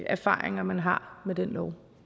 erfaringer man har med den lov